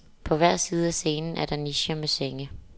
På hver side af scenen er der nicher med senge.